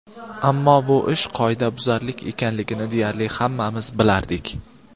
Ammo bu ish qoidabuzarlik ekanligini deyarli hammamiz bilardik.